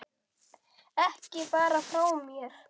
Ekki fara frá mér!